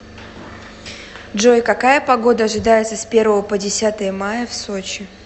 джой какая погода ожидается с первого по десятое мая в сочи